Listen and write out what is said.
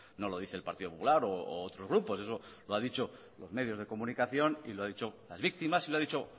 no lo dice el partido popular u otros grupos eso lo ha dicho los medios de comunicación y lo ha dicho las víctimas y lo ha dicho